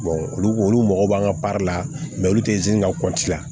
olu olu mago b'an ka baara la olu tɛ ka la